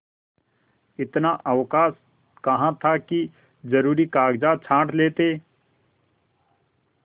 इतना अवकाश कहाँ था कि जरुरी कागजात छॉँट लेते